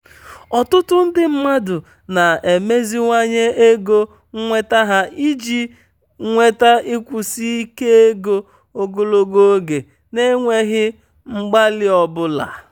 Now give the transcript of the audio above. ọtụtụ ndị mmadụ na-emeziwanye ego nnweta ha iji nweta nkwụsi ike ego ogologo oge n'enweghị mgbalị ọ bụla.